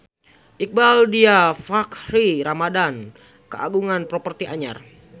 Iqbaal Dhiafakhri Ramadhan kagungan properti anyar